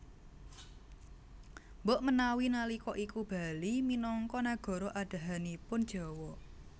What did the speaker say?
Mbok menawi nalika iku Bali minangka nagara andhahanipun Jawa